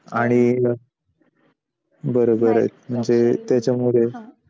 आणि बरोबर आहे.